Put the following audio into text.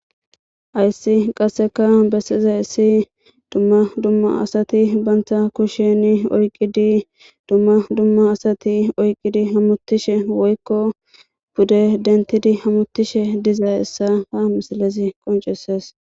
Hayssi qasseka bessizayissi dumma dumma asati banta kusheni oyqidi dumma dumma asati oyqqidi hamutishe woykko pude dentidi hamutishe dizayissa ha misalezi qonceses